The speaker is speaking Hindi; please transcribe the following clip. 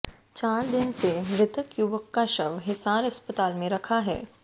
चार दिन से मृतक युवक का शव हिसार अस्पताल में रखा है